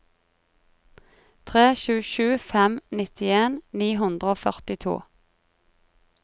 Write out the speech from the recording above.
tre sju sju fem nittien ni hundre og førtito